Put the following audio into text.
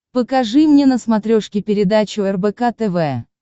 покажи мне на смотрешке передачу рбк тв